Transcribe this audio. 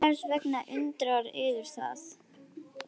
Og hvers vegna undrar yður það?